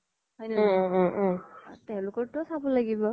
হয় নে নহয় তেওলোকৰ তো ও চাব লাগিব